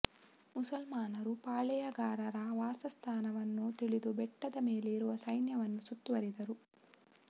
ಮುಸಲ್ಮಾನರು ಪಾಳೆಯಗಾರರ ವಾಸಸ್ಥಾನವನ್ನು ತಿಳಿದು ಬೆಟ್ಟದ ಮೇಲೆ ಇರುವ ಸೈನ್ಯವನ್ನು ಸುತ್ತುವರಿದರು